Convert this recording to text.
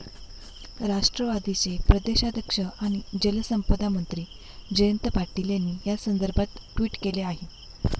राष्ट्रवादीचे प्रदेशाध्यक्ष आणि जलसंपदामंत्री जयंत पाटील यांनी यासंदर्भात ट्वीट केलं आहे.